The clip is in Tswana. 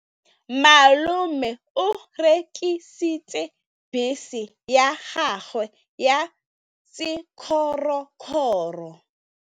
Malome o rekisitse bese ya gagwe ya sekgorokgoro.